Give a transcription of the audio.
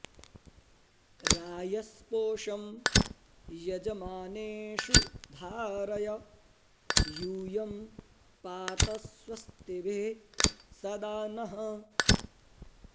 रा॒यस्पोषं॒ यज॑मानेषु धारय यू॒यं पा॑त स्व॒स्तिभिः॒ सदा॑ नः